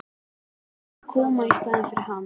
Að koma í staðinn fyrir hann?